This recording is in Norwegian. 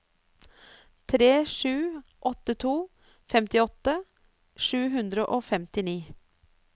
tre sju åtte to femtiåtte sju hundre og femtini